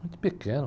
Muito pequeno.